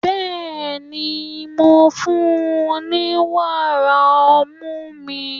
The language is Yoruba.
Bẹ́ẹ̀ni, mò ń fún-un ní wàrà ọmú mi.